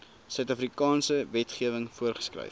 suidafrikaanse wetgewing voorgeskryf